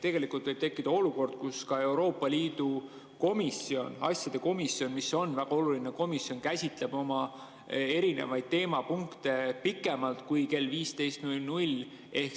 Tegelikult võib tekkida olukord, kus ka Euroopa Liidu asjade komisjon, mis on väga oluline komisjon, käsitleb oma erinevaid teemapunkte pikemalt kui kella 15.00‑ni.